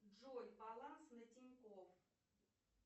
джой баланс на тинькофф